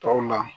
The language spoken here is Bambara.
Tɔw la